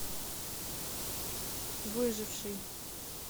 выживший